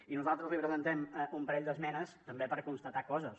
i nosaltres li presentem un parell d’esmenes també per constatar coses